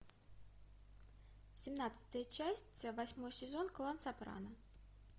семнадцатая часть восьмой сезон клан сопрано